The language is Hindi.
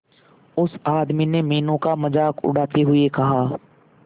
उस आदमी ने मीनू का मजाक उड़ाते हुए कहा